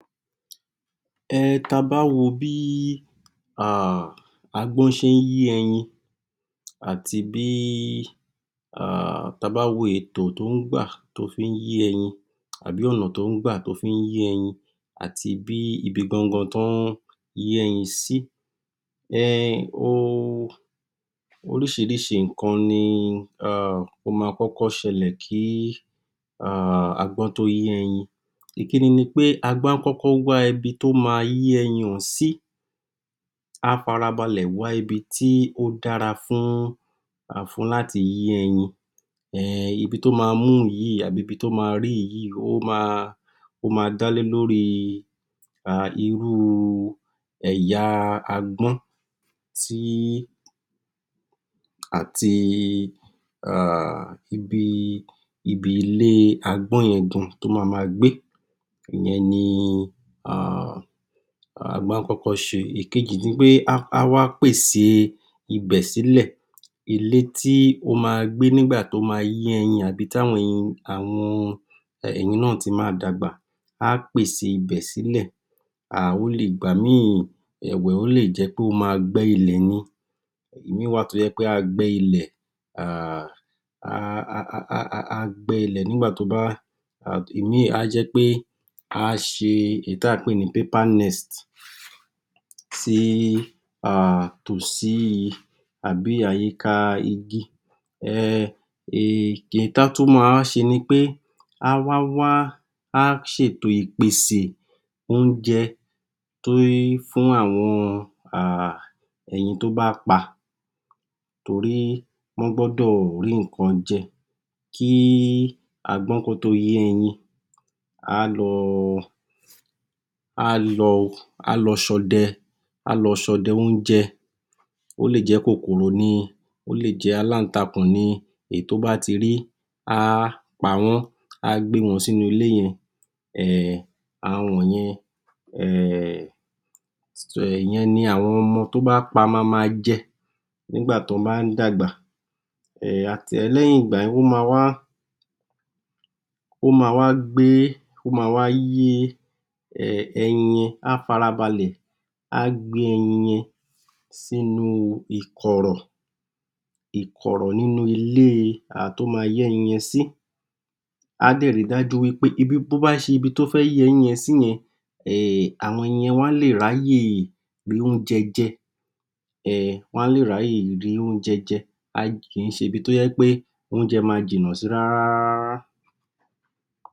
um ta bá wo bí um agbọ́n ṣe ń yé ẹyin àti bí, ta bá wo ètò tó ń gbà tó fí ń yé ẹyin àbí ọ̀nà tó ń gbà tó fí ń yé ẹyin àti bí ibi gan-an gan tọ́ ń yé ẹyin sí, um oríṣiríṣi nǹkan ni um ó ma kọ́kọ́ ṣẹlẹ̀ kí um agbọ́n tó yé ẹyin. Ìkínní ni pé, agbọ́n á kọ́kọ́ wá ibi tó ma yé ẹyin ọ̀hun sí, á farabalẹ̀ wá ibi tí ó dára fún láti yé ẹyin, um ibi tó ma mú yìí àbí ibi tó ma rí yìí, ó ma, ó ma dá lé lórí um irú ẹ̀yà agbọ́n tí àti um ibi ilé agbọ̀n yẹn gan tó ma ma gbé, ìyẹn ni um um agbọ́n á kọ́kọ́ ṣe. Ìkejì ni pé á wá pèsè ibẹ̀ sílẹ̀, ilé tí ó ma gbé nígbà tó ma yé ẹyin àbí táwọn ẹyin náà ti ma dàgbà, á pèsè ibẹ̀ sílẹ̀, um ó lè, ìgbà mí-ìn ẹ̀wẹ̀, ò lè jẹ́ pé ó ma gbẹ́ ilẹ̀ ni, èmí-ìn wà tó ma gbẹ́ ilẹ̀ um á gbẹ́ ilẹ̀ nígbà tó bá, èmí-ìn á jẹ́ pé á ṣe èyí tí à ń pè ní (Paper nest) sì um tòsí àbí àyíká igi um èyí tọ́ tún ma wá ṣe ni pé, á wá wá, á ṣètò ìpèsè, oúnjẹ fún àwọn um ẹyin tí ó bá pa tori wọ́n gbọ́dọ̀ rí nǹkan jẹ, kí agbọ́n kan tó yé ẹyin á lọ, á lọ ṣọdẹ, á lọ ṣọdẹ oúnjẹ, ó lè jẹ́ kòkòrò ni, ó lè jẹ́ aláǹtakùn ni, èyí tó bá ti rí, á pawọ́n, á gbé wọn sínú ilé yen um àwọn wọ̀nyẹn um ìyẹn ni àwọn ọmọ tó bá pa ma ma jẹ nígbà tí wọ́n bá ń dàgbà. um lẹ́yìn ìgbà yẹn, ó ma wá, ó ma wa gbé, ó ma wa yé ẹyin, á farabalẹ̀, á gbé ẹyin yẹn sínú ikọ̀rọ̀, ikọ̀rọ̀ nínú ilé tó má yé ẹyin yẹn sí, á dẹ̀ ri dájú wí pé ibi tó bá ṣe, ibi tó fẹ́ yé ẹyin yẹn sí yẹn um àwọn ẹyin yẹn wọ́n á lè ráyè rí oúnjẹ jẹ, um wọ́n á lè ráyè rí oúnjẹ jẹ, kì í ṣe ibi tó yẹ́ pé oúnjẹ ma jìnà sí rárárárá.